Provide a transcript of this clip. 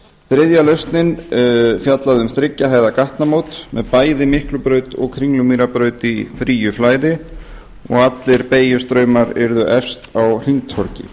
þriðja lausnin fjallaði um þriggja hæða gatnamót með bæði miklubraut og kringlumýrarbraut í fríi flæði og allir beygjustraumar yrðu efst á hringtorgi